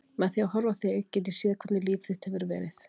Með því að horfa á þig get ég séð hvernig líf þitt hefur verið.